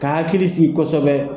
K' a hakili sigi kosɛbɛ.